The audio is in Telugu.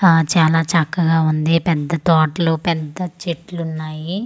ఆ చాలా చక్కగా ఉంది పెద్ద తోటలు పెద్ద చెట్లు ఉన్నాయి ఆ.